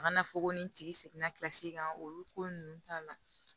A kana fɔ ko nin tigi seginna kilasi kan olu ko ninnu t'a la